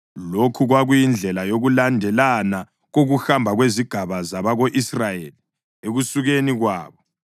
Lokhu kwakuyindlela yokulandelana kokuhamba kwezigaba zabako-Israyeli ekusukeni kwabo.